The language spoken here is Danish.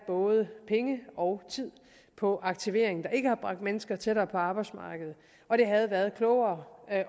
både penge og tid på aktivering der ikke har bragt mennesker tættere på arbejdsmarkedet og det havde været klogere at